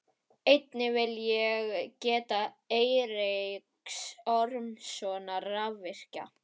Einnig vil ég geta Eiríks Ormssonar rafvirkja.